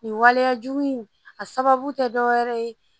Nin waleyajugu in a sababu tɛ dɔ wɛrɛ ye